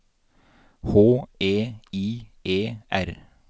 H E I E R